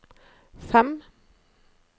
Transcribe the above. fem